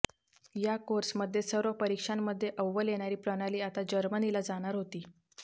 या कोर्समध्ये सर्व परिक्षांमध्ये अव्वल येणारी प्रणाली आता जर्मनीला जाणार होती